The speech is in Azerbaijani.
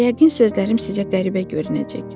Yəqin sözlərim sizə qəribə görünəcək.